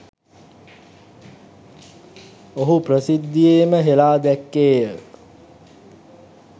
ඔහු ප්‍රසිද්ධියේම හෙළා දැක්කේය.